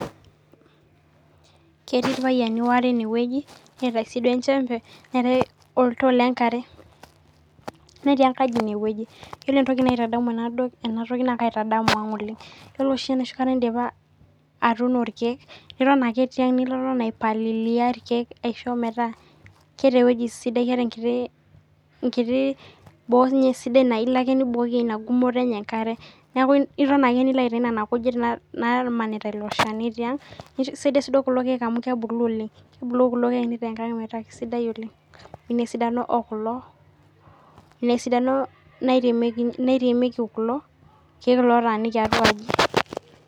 Ketii irpayiani waare enewueji neeta siduo enchembe , neetae oltoo lenkare netii enkaji inewueji, yiolo entoki naitaamu enatoki naa kaitadamu ang oleng , yiolo oshi enakata indipa atuuno irkiek, niton ake niton aipalilia irkiek aisho metaa keeta enkiti wueji sidai , enkiti , enkiti boo sidai naa iloake nibukoki ina gumoto enye enkare .Neku iton ake nilo aiatayu nene kujit namanita ilo shani tiang, nee ekisaidia siduo kulo kiek amu kebulu oleng, Kebulu kulo kiek mpaka nitaa enkang kisidai oleng, inaesidano okulo ,inaesidano nairemieki, nairemieki kulo kiek lotaaniki atua aji.